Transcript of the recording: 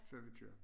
Før vi kører